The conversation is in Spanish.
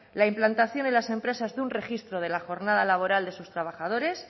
la implantación en las empresas de un registro de la jornada laboral de sus trabajadores